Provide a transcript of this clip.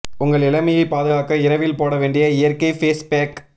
உங்கள் இளமையைப் பாதுகாக்க இரவில் போட வேண்டிய இயற்கை ஃபேஸ் பேக்